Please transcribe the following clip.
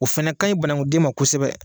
O fana ka ɲin banakunden ma kosɛbɛ.